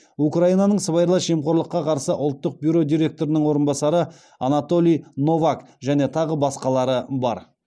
украинаның сыбайлас жемқорлыққа қарсы ұлттық бюро директорының орынбасары анатолий новак және тағы басқалары бар